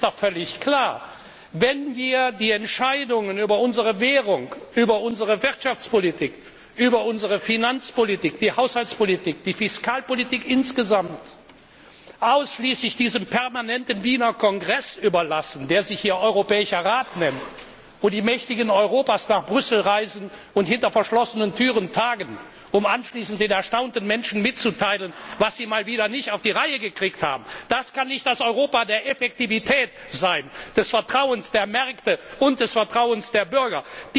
Es ist doch völlig klar Wenn wir die Entscheidungen über unsere Währung, über unsere Wirtschafts und Finanzpolitik, die Haushaltspolitik, die Fiskalpolitik insgesamt, ausschließlich diesem permanenten Wiener Kongress überlassen, der sich hier Europäischer Rat nennt, wo die Mächtigen Europas nach Brüssel reisen und hinter verschlossenen Türen tagen, um anschließend den erstaunten Menschen mitzuteilen, was sie mal wieder nicht auf die Reihe gekriegt haben das kann nicht das Europa der Effektivität sein, des Vertrauens der Märkte und des Vertrauens der Bürger!